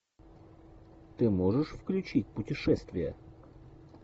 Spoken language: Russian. ты можешь включить путешествия